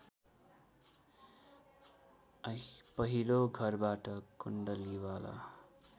पहिलो घरबाट कुण्डलीवाला